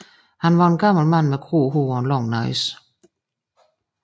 Han var en gammel mand med gråt hår og en lang næse